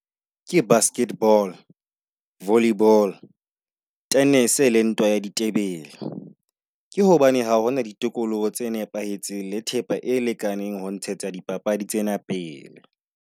Ke basketball, volleyball, tennis le ntwa ya ditebele. Ke hobane ha hona di tokoloho tse nepahetseng le thepa e lekaneng ho ntshetsa di papadi tsena pele.